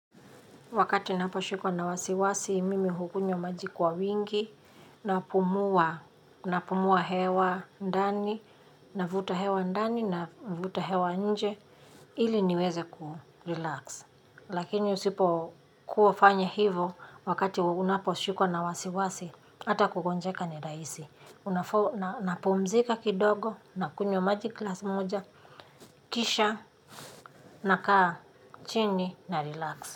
Wakati napo shikwa na wasiwasi, mimi hukunywa maji kwa wingi, napumua hewa ndani na vuta hewa ndani na vuta hewa nje ili niweze ku relax. Lakini usipo kufanya hivyo wakati unapo shikwa na wasiwasi, ata kugonjeka ni rahisi. Napumzika kidogo nakunywa maji glasi moja, kisha, nakaa, chini, na relax.